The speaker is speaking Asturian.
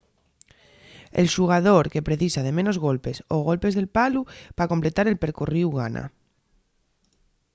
el xugador que precisa de menos golpes o golpes del palu pa completar el percorríu gana